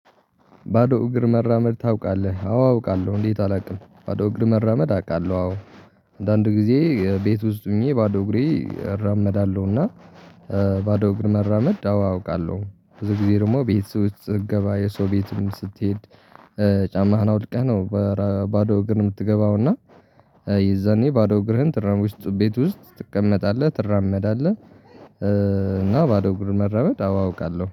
ባዶ እግር መራመድ ታውቃለ? አዎ አውቃለሁ እንዴት አላውቅም ባዶ እግር መራመድ አውቃለሁ አዎ አንዳንድ ጊዜ ቤት ውስጥ ሆኜ ባዶ እግሬ እራመዳለሁና ባዶ እግር መራመድ አዎ አውቃለሁ ብዙ ጊዜ ደግሞ ቤት ውስጥ ስትገባ የሰው ቤትም ስትሄድ ጫማህን አውድቀህ ነው በባዶ እግር የምትገባው እና የዛኔ ባዶ እግርህን ትራመድ ውስጥ ቤት ውስጥ ትቀመጣለህ ትራመዳለህ እና ባዶ ግርም መረመድ አውቃለሁ